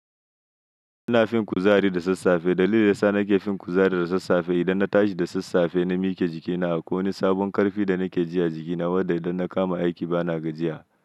Ina fin kuzari da sassafe, dalilin da yasa nake fin kuzari da sassafe idan na tashi da sassafe na miqe jikina akwai wani sabon ƙarfi da nakeji a jiki na wanda inna kama aiki bana gajiya.